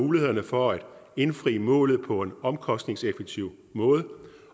mulighederne for at indfri målet på en omkostningseffektiv måde